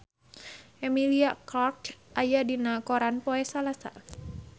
Emilia Clarke aya dina koran poe Salasa